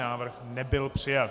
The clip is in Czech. Návrh nebyl přijat.